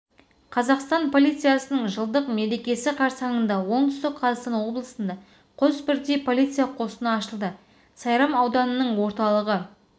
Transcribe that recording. қазақстан полициясының жылдық мерекесі қарсаңында оңтүстік қазақстан облысында қос бірдей полиция қосыны ашылды сайрам ауданының орталығы